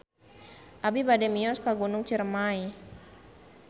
Abi bade mios ka Gunung Ciremay